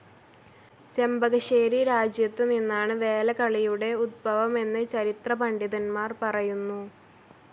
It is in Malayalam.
ചെമ്പകശ്ശേരി രാജ്യത്ത് നിന്നാണ് വേലകളിയുടെ ഉദ്ഭവമെന്ന് ചരിത്ര പണ്ഡിതന്മാർ പറയുന്നു.